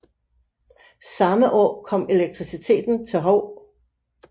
Samme år kom elektriciteten til Hou